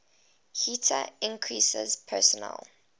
heater increases personal